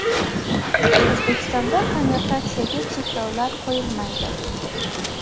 O‘zbekistonda konvertatsiyaga cheklovlar qo‘yilmaydi.